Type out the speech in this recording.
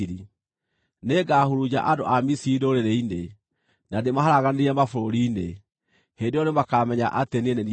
Nĩngahurunja andũ a Misiri ndũrĩrĩ-inĩ, na ndĩmaharaganĩrie mabũrũri-inĩ. Hĩndĩ ĩyo nĩmakamenya atĩ niĩ nĩ niĩ Jehova.”